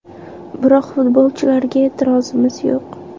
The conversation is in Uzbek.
Biroq futbolchilarga e’tirozimiz yo‘q.